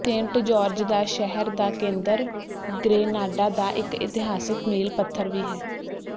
Saint George ਦਾ ਸ਼ਹਿਰ ਦਾ ਕੇਂਦਰ ਗ੍ਰੇਨਾਡਾ ਦਾ ਇਕ ਇਤਿਹਾਸਿਕ ਮੀਲ ਪੱਥਰ ਵੀ ਹੈ